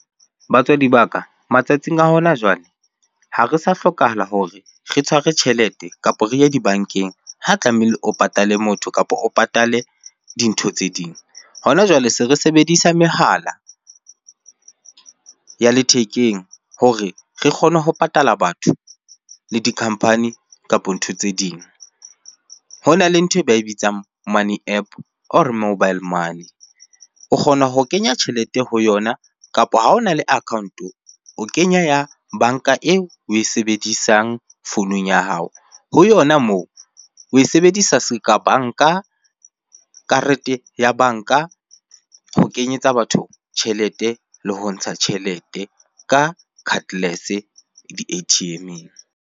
Batswadi ba ka, matsatsing a hona jwale ha re sa hlokahala hore re tshware tjhelete kapo re ye dibankeng ha tlamehile o patale motho kapa o patale dintho tse ding. Hona jwale se re sebedisa mehala ya lethekeng hore re kgone ho patala batho le di-company kapo ntho tse ding. Hona le ntho e ba e bitsang money App or mobile money. O kgona ho kenya tjhelete ho yona kapa ha ona le account-o, o kenya ya banka eo oe sebedisang founung ya hao. Ho yona moo oe sebedisa seka banka, karete ya banka ho kenyetsa batho tjhelete le ho ntsha tjhelete ka cardless-e di-A_T_M-eng.